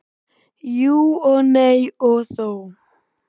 Jú og nei og þó.